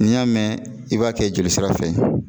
N'i y'a mɛn i b'a kɛ joli sira fɛ